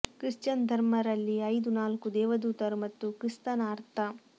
Christian ಧರ್ಮ ರಲ್ಲಿ ಐದು ನಾಲ್ಕು ದೇವದೂತರು ಮತ್ತು ಕ್ರಿಸ್ತನ ಅರ್ಥ